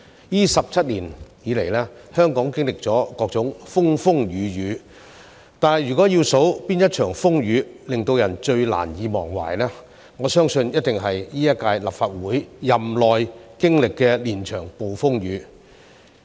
這17年以來，香港經歷了各種風風雨雨，但如果要數哪一場風雨最令人難以忘懷，我相信一定是今屆立法會任期內經歷的連場暴風雨。